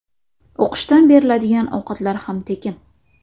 O‘qishdan beriladigan ovqatlar ham tekin.